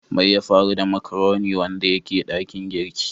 Mai ya faru da " macaroni " wanda yake dakin girki?